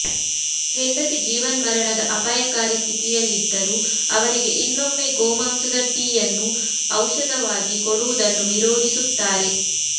ಹೆಂಡತಿ ಜೀವನ್ಮರಣದ ಅಪಾಯಕಾರಿ ಸ್ಥಿತಿಯಲ್ಲಿದ್ದರೂ ಅವರಿಗೆ ಇನ್ನೊಮ್ಮೆ ಗೋಮಾಂಸದ ಟೀಯನ್ನು ಔಷಧವಾಗಿ ಕೊಡುವುದನ್ನು ವಿರೋಧಿಸುತ್ತಾರೆ